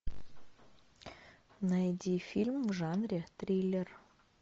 найди фильм в жанре триллер